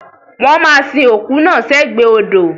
Wọ́n ma sin òkú náà sẹ́gbẹ̀ odò